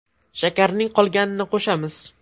Shakarning qolganini qo‘shamiz.